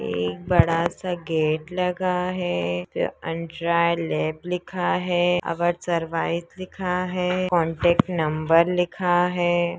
एक बड़ा सा गेट लगा है। आउन्ड्री लेब लिखा है। आवर सर्विसेज़ लिखा है। कोंटेक्ट नंबर लिखा है।